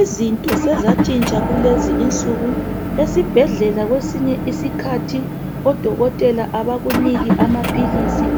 Izinto sezatshintsha kulezi insuku. Esibhedlela kwesinye iskhathi, odokotela abakuniki amaphilisi,